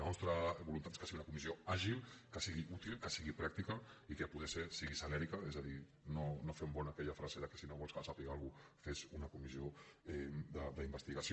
la nostra voluntat és que sigui una comissió àgil que sigui útil que sigui pràctica i que a poder ser que sigui celèrica és a dir no fem bona aquella frase que si no vols que se sàpiga alguna cosa fes una comissió d’investigació